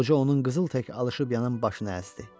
Qoca onun qızıl tək alışıb yanan başını əzdi.